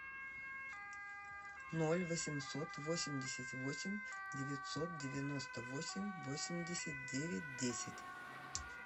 ноль восемьсот восемьдесят восемь девятьсот девяносто восемь восемьдесят девять десять